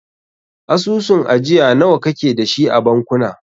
Asusun ajiya nawa kake dashi a bankuna?